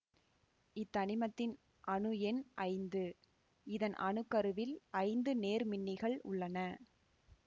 இத்தனிமத்தின் அணு எண் ஐந்து இதன் அணு கருவில் ஐந்து நேர்மின்னிகள் உள்ளன